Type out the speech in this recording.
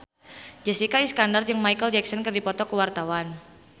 Jessica Iskandar jeung Micheal Jackson keur dipoto ku wartawan